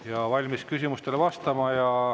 Ja valmis küsimustele vastama.